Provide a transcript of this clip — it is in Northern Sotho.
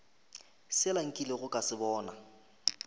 sela nkilego ka se bona